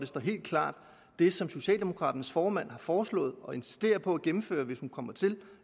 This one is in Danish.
stå helt klart det som socialdemokraternes formand har foreslået og insisterer på at gennemføre hvis hun kommer til